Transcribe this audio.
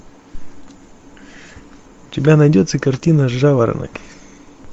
у тебя найдется картина жаворонок